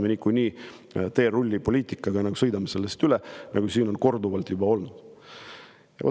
Me niikuinii teerullipoliitikaga sõidame kõigest üle, nagu siin on korduvalt juba olnud.